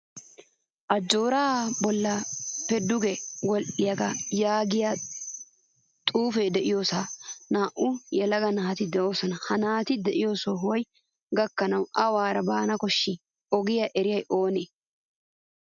Ajjooray bollappe duge wodhdhiyagee yaagiyaa xuufe deiyosan naa'u yelaga naati deosona. Ha naati de'iyo sohuwaan gakkanawu awura baana koshshi? Ogiya eriyay oonee?